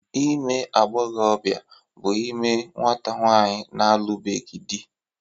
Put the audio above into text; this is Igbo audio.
Ime agbọghọbịa bụ ime nwata nwaanyị na-alụbeghị dị